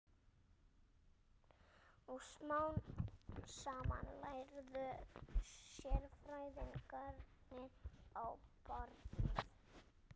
Og smám saman lærðu sérfræðingarnir á barnið.